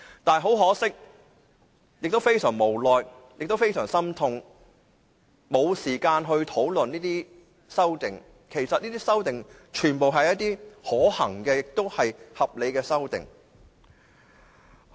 但是，很可惜，亦感到非常無奈和心痛，我們沒有時間討論這些修正案，其實這些修正案全部是可行和合理的。